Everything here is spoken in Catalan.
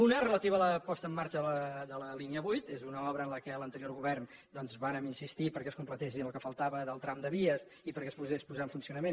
una relativa a la posada en marxa de la línia vuit és una obra en la qual l’anterior govern doncs vàrem insistir perquè es completés en el que faltava del tram de vies i perquè es pogués posar en funcionament